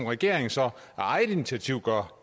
regeringen så af eget initiativ gør